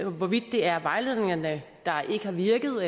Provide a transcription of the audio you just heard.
hvorvidt det er vejledningerne der ikke har virket og